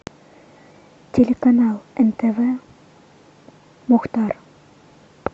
телеканал нтв мухтар